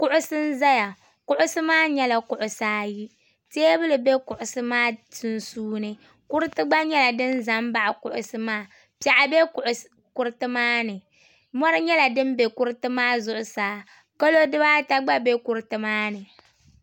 Kuɣusi n ʒɛya kuɣusi maa nyɛla kuɣusi ayi teebuli ʒɛ kuɣusi maa sunsuuni kuriti gba nyɛla din ʒɛ baɣa kuɣusi maa piɛɣu bɛ kuriti maani mori nyɛla din bɛ kuriti maa zuɣusaa kalo dibaata gba bɛ kuriti maani